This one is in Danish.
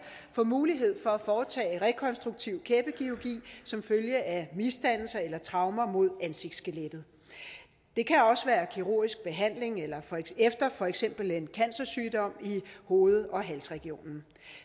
får mulighed for at foretage rekonstruktiv kæbekirurgi som følge af misdannelser eller traumer mod ansigtsskelettet det kan også være kirurgisk behandling efter for eksempel en cancersygdom i hoved og halsregionen